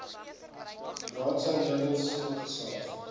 raadsaal meubels opgesaag